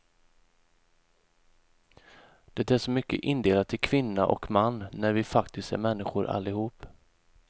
Det är så mycket indelat i kvinna och man, när vi faktiskt är människor allihop.